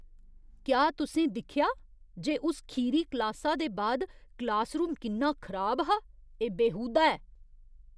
क्या तुसें दिक्खेआ जे उस खीरी क्लासा दे बाद क्लासरूम किन्ना खराब हा? एह् बेहूदा ऐ।